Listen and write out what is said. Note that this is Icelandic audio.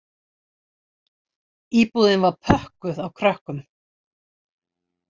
Íbúðin var pökkuð af krökkum